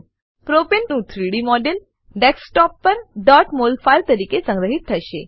પ્રોપને propane નું 3ડી 3ડી મોડેલ ડેસ્કટોપ પર mol ફાઈલ તરીકે સંગ્રહીત થશે